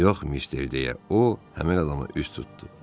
Yox mister, deyə o, həmin adama üz tutdu.